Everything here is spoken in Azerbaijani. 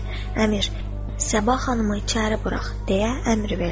Əmir Səbah xanımı içəri burax deyə əmr verdi.